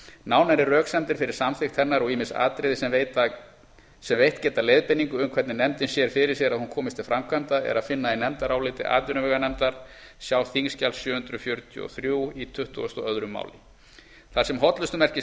nánari röksemdir fyrir samþykkt hennar og ýmis atriði sem veitt geta leiðbeiningu um hvernig nefndin sér fyrir sér að hún komist til framkvæmda er að finna í nefndaráliti atvinnuveganefndar sjá þingskjali sjö hundruð fjörutíu og þrjú í tuttugasta og öðru máli þar sem hollustumerkið